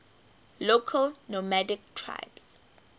local nomadic tribes